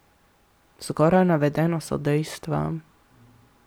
Zgoraj navedeno so dejstva.